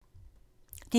DR2